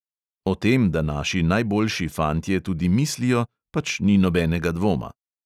O tem, da naši najboljši fantje tudi mislijo, pač ni nobenega dvoma.